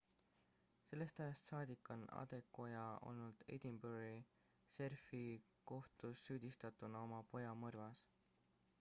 sellest ajast saadik on adekoya olnud edinburghi šerifikohtus süüdistatuna oma poja mõrvas